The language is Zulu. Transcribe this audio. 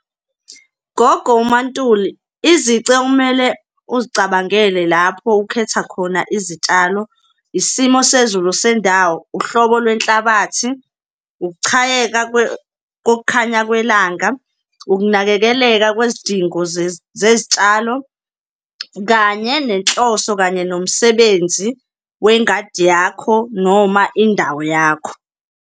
Gogo uMaNtuli, izici okumele uzicabangele lapho ukhetha khona izitshalo, isimo sezulu sendawo, uhlobo lwenhlabathi, ukuchayeka kokukhanya kwelanga, ukunakekeleka kwizidingo zezitshalo, kanye nenhloso kanye nomsebenzi wengadi yakho noma indawo yakho.